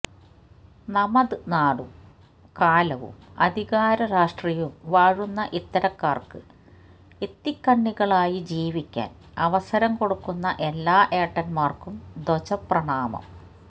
നമത് നാടും കാലവും അധികാര രാഷ്ട്രീയവും വാഴുന്ന ഇത്തരക്കാർക്ക് ഇത്തിക്കണ്ണികളായി ജീവിക്കാൻ അവസരം കൊടുക്കുന്ന എല്ലാ ഏട്ടന്മാർക്കും ധ്വജപ്രണാമം